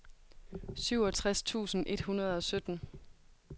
syvogtres tusind et hundrede og sytten